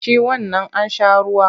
Ci wannan an sha ruwa!